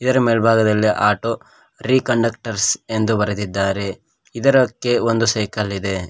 ಇದರ ಮೇಲ್ಭಾಗದಲ್ಲಿ ಆಟೋ ರೀಕಂಡಕ್ಟರ್ಸ್ ಎಂದು ಬರೆದಿದ್ದಾರೆ ಇದರಕ್ಕೆ ಒಂದು ಸೈಕಲ್ ಇದೆ.